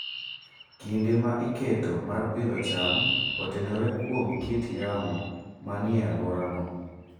Kinde ma iketo mar pidho cham otenore kuom kit yamo manie alworano.